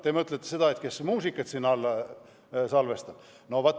Te mõtlete seda, et kes siin muusikat salvestavad?